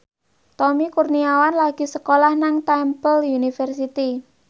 Tommy Kurniawan lagi sekolah nang Temple University